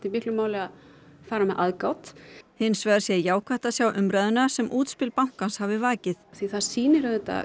miklu máli að fara með aðgát hins vegar sé jákvætt að sjá umræðuna sem útspil bankans hafi vakið því það sýnir auðvitað